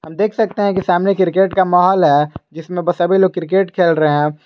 देख सकते हैं कि सामने क्रिकेट का माहौल है जिसमें सभी लोग क्रिकेट खेल रहे हैं।